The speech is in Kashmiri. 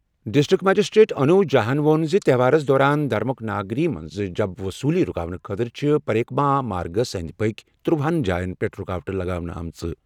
ڈِسٹرکٹ مجسٹریٹ انوج جھاہن ووٚن زِ تہوارَس دوران دھرمک ناگری منٛز جَب وصوٗلی رُکاونہٕ خٲطرٕ چھِ پریک ما مارگ کِس أنٛدۍ پٔکھۍ تٕرٗوہَ ہن جایَن پٮ۪ٹھ رکاوٹہٕ لگاونہٕ آمٕتۍ۔